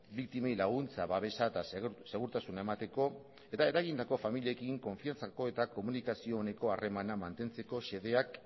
biktimei laguntza babesa eta segurtasuna emateko eta eragindako familiekin konfidantzako eta komunikazio oneko harremana mantentzeko xedeak